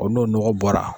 n'o nɔgɔ bɔra